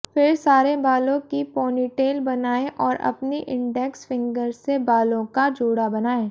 फिर सारे बालों की पोनीटेल बनाएं और अपनी इंडेक्स फिंगर से बालों का जूड़ा बनाएं